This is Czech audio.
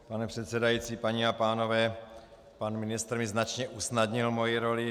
Pane předsedající, paní a pánové, pan ministr mi značně usnadnil moji roli.